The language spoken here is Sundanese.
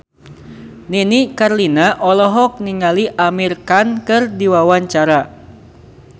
Nini Carlina olohok ningali Amir Khan keur diwawancara